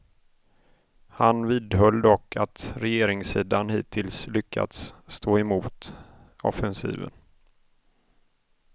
Han vidhöll dock att regeringssidan hittills lyckats stå emot offensiven.